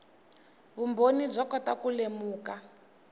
vumbhoni byo kota ku lemuka